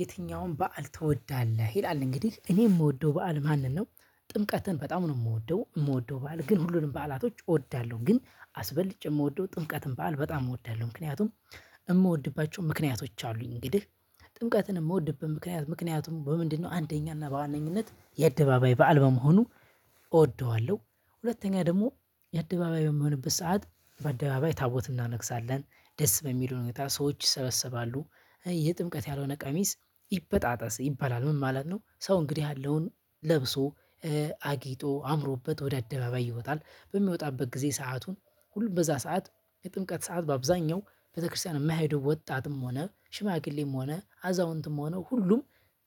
የትኛውም በዓል ትወዳለህ ይላል እንግዲህ እኔ ምወደው በዓል ማንን ነው? ጥምቀትን በጣም ነው ምወደው ምወደው በዓል ግን ሁሉንም በዓላቶች እወዳለሁ ግን አስበልጨ ምወደው ጥምቀትን በዓል በጣም እወዳለሁ። ምክንያቱም እምወድባቸው ምክንያቶች አሉኝ እንግዲህ ጥምቀትን ምወድበት ምክንያት ምክንያቱም በምንድነው አንደኛ እና በዋነኝነት የአደባባይ በዓል በመሆኑ እወደዋለሁ። ሁለተኛ ደግሞ የአደባባይ በምሆንበት ሰዓት በአደባባይ ታቦት እናነግሳለን ደስ በሚል ሁኔታ ሰዎች ይሰበሰባሉ የጥምቀት ያልሆነ ቀሚስ ይበጣጠስ ይባላል ምን ማለት ነው? ሰው እንግዲህ ያለውን ለብሶ አጊጦ አምሮበት ወደ አደባባይ ይወጣል። በሚወጣበት ጊዜ ሰአቱን ሁሉም በዛ ሰዓት የጥምቀት ሰዓት በአብዛኛው ቤተክርስቲያን ማይሄዱ ወጣትም ሆነ ሽማግሌም ሆነ አዛውንትም ሆነ ሁሉም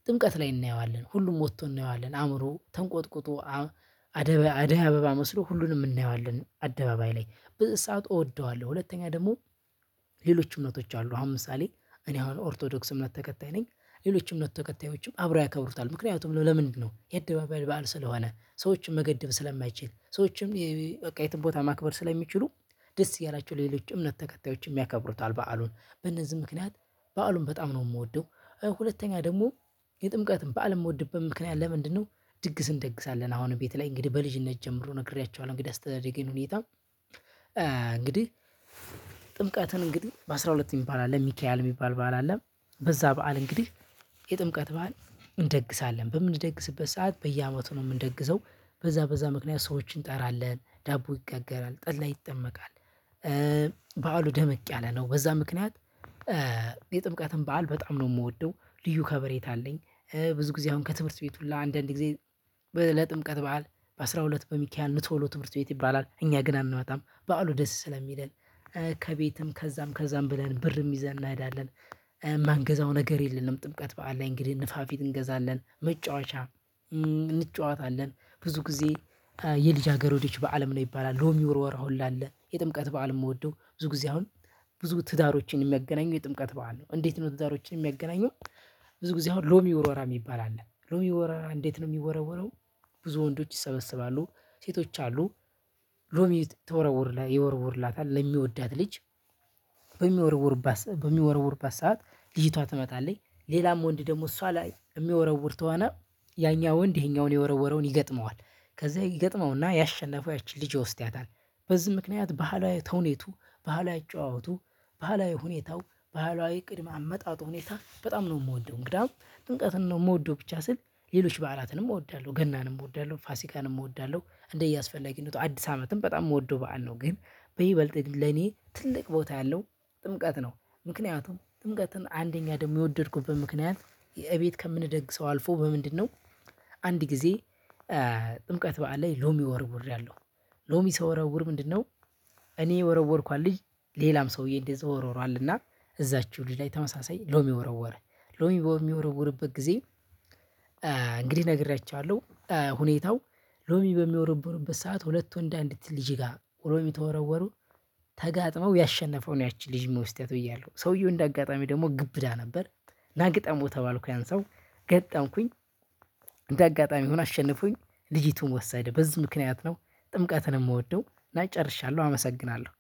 ጥምቀት ላይ እናየዋለን ሁሉም ወቶ እናየዋለን አምሮ ተንቆጥቁጦ። አደይ አበባ መስሎ ሁሉንም እናየዋለን አደባባይ ላይ ብዝ ሰዓት እወደዋለሁ። ሁለተኛ ደግሞ ሌሎች እምነቶች አሉ ምሳሌ እኔ አሁን ኦርቶዶክስ እምነት ተከታይ ነኝ። ሌሎችም እምነት ተከታዮችም አብረው ያከብሩታል ምክንያቱም ለምንድነው ያአደባበል በዓል ስለሆነ ሰዎችን መገደብ ስለማይችል ሰዎችም በቃ የትም ቦታ ማክበር ስለሚችሉ። ደስ እያላችሁ ሌሎች እምነት ተከታዮችም ያከብሩታል በዓሉን በእነዚህ ምክንያት በዓሉን በጣም ነው ምወደው። ሁለተኛ ደግሞ የጥምቀትን በዓል ምወድበት ምክንያት ለምንድነው? ድግስን እንደግሳለን አሁንም ቤት ላይ እንግዲህ በልጅነት ጀምሮ ነግሬያችኋለሁ እንግዳ አስተዳደጌን ሁኔታ። እንግዲህ ጥምቀትን እንግዲህ በአስራ ሁለት ሚባል አለ ሚካኤል ሚባል በዓል አለ። በዛ በዓል እንግዲህ የጥምቀት በዓል እንደግሳለን በምንደግስበት ሰዓት በየአመቱ ነው ምንደግሰው። በዛ በዛ ምክንያት ሰዎችን እንጠራለን ዳቦ ይጋገራል ጠላ ይጠመቃል። በዓሉ ደመቅ ያለ ነው በዛ ምክንያት። የጥምቀትን በዓል በጣም ነው ምወደው ልዩ ከበሬታ አለኝ። ብዙ ጊዜ አሁን ከትምህርት ቤት ሁላ አንዳንድ ጊዜ። ለጥምቀት በዓል በአስራ ሁለት በሚካሀል ኑ ቶሎ ትምህርት ቤት ይባላል እኛ ግን አንመጣም በዓሉ ደስ ስለሚለን። ከቤትም ከዛም ከዛም ብለን ብርም ይዘን እንሄዳለን። ማንገዛው ነገር የለነም ጥምቀት በዓል ላይ እንግዲህ ንፋፊት እንገዛለን መጫወቻ። እንጫወታለን ብዙ ጊዜ። የልጃ ገረዶች በዓልም ነው ይባላል ሎሚ ወርወራ ሁላ አለ የጥምቀት በዓል ምወደው ብዙ ጊዜ አሁን ብዙ ትዳሮችን ሚያገናኘው የጥምቀት በዓል ነው እንዴት ነው ትዳሮችን ሚያገናኘው? ብዙ ጊዜ አሁን ሎሚ ውርወራ ሚባል አለ ሎሚ ወረራ እንዴት ነው ሚወረወረው? ብዙ ወንዶች ይሰበስባሉ ሴቶች አሉ ሎሚ ተወረወር ይወርውርላታል ለሚወዳት ልጅ። በሚወርውርባት በሚወርውርባት ሰዓት ልጅቷ ትመጣለይ ሌላም ወንድ ደግሞ እሷ ላይ ሚወረውር ተወነ ያኛ ወንድ ይሄኛውን የወረወረውን ይገጥመዋል ከዛ ይገጥመውና ያሸነፈው ያቺ ልጅ ይወስዳታል። በዚህ ምክንያት ባህላዊ ተውኔቱ ባህላዊ አጨዋወቱ ባህላዊ ሁኔታው ባህላዊ ቅድመ አመጣጡ ሁኔታ በጣም ነው ምወደው። እንግዳ ጥምቀትን ነው ምወደው ብቻ ስል ሌሎች በዓላትንም እወዳለሁ ገናንም እወዳለሁ ፋሲካንም እወዳለሁ እንደየ እስፈለጊነቱ አዲስ አመትም በጣም ምወደው በዓል ነው። ግን በይበልጥ ለኔ ትልቅ ቦታ ያለው ጥምቀት ነው። ምክንያቱም ጥምቀትን አንደኛ ደግሞ የወደድኩበት ምክንያት የእቤት ከምንደግሰው አልፎ በምንድነው? አንድ ጊዜ ጥምቀት በዓል ላይ ሎሚ ወርወርያለው። ሎሚ ስወረወር ምንድነው? እኔ የወረወርኳት ልጅ ሌላም ሰውዬ እንደዛ ወረወራልና እዛችሁ ልጅ ላይ ተመሳሳይ ሎሚ ወረወረ። ሎሚ በሚወረወረበት ጊዜ እንግዲህ ነግሬያችኋለሁ ሁኔታው። ሎሚ በሚወረውርሩበት ሰዓት ሁለት ወንድ አንዲት ልጅ ጋር ሎሚ ተወረወሩ። ተጋጥመው ያሸነፈው ነው ያቺን ልጅ ሚወስዳት ብያለሁ ሰውየው እንደ አጋጣሚ ደሞ ግብዳ ነበር። ናግጠመው ተባልኩኝ ያን ሰው ገጠምኩኝ። እንደ አጋጣሚ ሆኖ አሸነፎኝ ልጅቱን ወሰደ በዚህ ምክንያት ነው። ጥምቀትን ምወደው እና ጨርሻለሁ አመሰግናለሁ